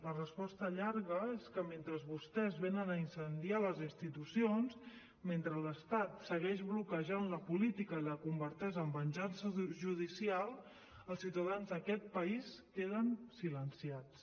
la resposta llarga és que mentre vostès venen a incendiar les institucions mentre l’estat segueix bloquejant la política i la converteix en venjança judicial els ciutadans d’aquest país queden silenciats